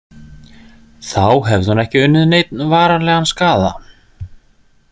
Þá hefði hún ekki unnið neinn varanlegan skaða.